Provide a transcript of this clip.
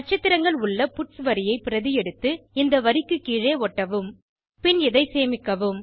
நட்சத்திரங்கள் உள்ள பட்ஸ் வரியை பிரதி எடுத்து இந்த வரிக்கு கீழே ஒட்டவும் பின் இதை சேமிக்கவும்